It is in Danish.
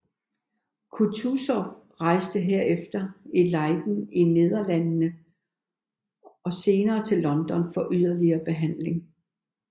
Kutuzov rejste herefter til Leiden i Nederlandene og senere til London for yderligere behandling